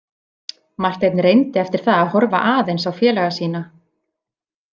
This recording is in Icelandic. Marteinn reyndi eftir það að horfa aðeins á félaga sína.